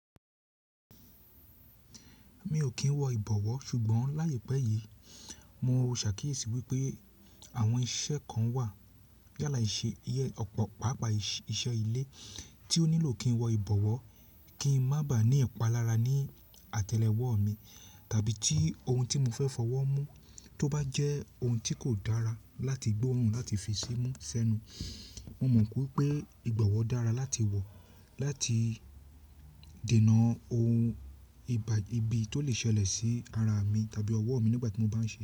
Mi ò kí ń wọ ìbọ̀wọ́ ṣùgbọ́n láyé pẹ́ yìí mo rò ṣàkíyèsí wípé àwọn iṣẹ́ kan wà yálà ìṣe iye ọ̀pọ̀ pápá iṣẹ́ ilé tí ó nílò kí ń wọ ìbọ̀wọ́ kí ń má bà á ní ẹ̀palára ní àtẹlẹwọ́ mi tàbí tí ohun tí mo fẹ́ fọwọ́ mú tó bá jẹ́ ohun tí kò dára láti gbé ọrùn láti fi sí mú ṣẹ́nu. Mo mọ̀ kí wípé ìgbọ̀wọ́ dára láti wọ láti dènà ohun ibi tó lè ṣẹlẹ̀ sí ara mi tàbí ọwọ́ mi nígbà tí mo bá ń ṣe.